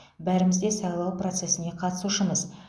бәріміз де сайлау процесіне қатысушымыз